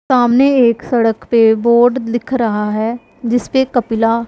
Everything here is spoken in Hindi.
सामने एक सड़क पे बोर्ड लिख रहा है जिसपे कपिला--